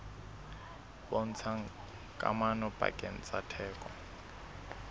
bontshang kamano pakeng tsa theko